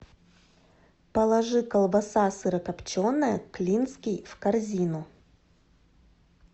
положи колбаса сырокопченая клинский в корзину